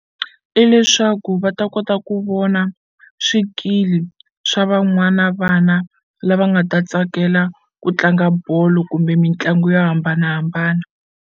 I leswaku va ta kota ku vona swikili swa van'wana vana lava nga ta tsakela ku tlanga bolo kumbe mitlangu yo hambanahambana.